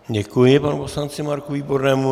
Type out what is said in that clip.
Děkuji panu poslanci Marku Výbornému.